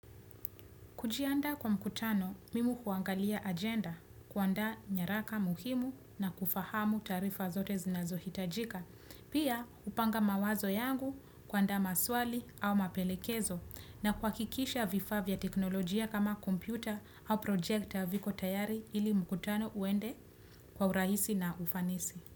Kujiandaa kwa mkutano mimi huangalia agenda, kuandaa nyaraka muhimu na kufahamu taarifa zote zinazohitajika. Pia hupanga mawazo yangu, kuandaa maswali au mapelekezo na kuhakikisha vifaa vya teknolojia kama kompyuta au projekta viko tayari ili mkutano uende kwa urahisi na ufanisi.